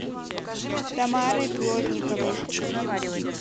тамарой плотниковой